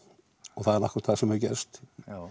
og það er akkúrat það sem hefur gerst